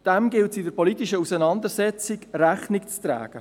Dem gilt es in der politischen Auseinandersetzung Rechnung zu tragen.